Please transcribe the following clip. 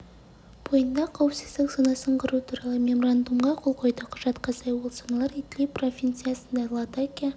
бойында қауіпсіздік зонасын құру туралы меморандумға қол қойды құжатқа сай ол зоналар идлиб провинциясында латакия